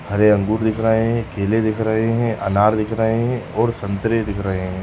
हरे अंगूर दिख रहे हैं केले दिख रहे हैं अनार दिख रहे हैं और संतरे दिख रहे हैं।